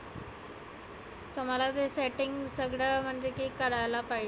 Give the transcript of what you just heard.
तुम्हाला ते setting सगळ करायला पाहिजे.